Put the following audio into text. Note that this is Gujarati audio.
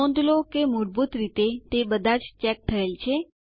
નોંધ લો કે મૂળભૂત રીતે તે બધાજ ચેક થયેલ છે